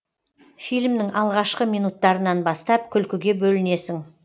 фильмнің алғашқы минуттарынан бастап күлкіге бөлінесің